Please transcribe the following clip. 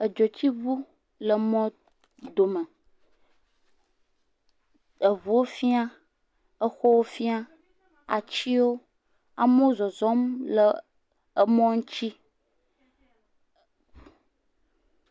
Edzotsiŋu le mɔdome. Eŋuuwo fiã, exɔwo fiã, atsiwo. Amewo zɔzɔm le emɔ ŋtsi.